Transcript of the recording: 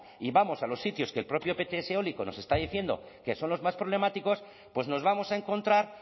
y vamos a los sitios que el propio ptse eólico nos está diciendo que son los más problemáticos pues nos vamos a encontrar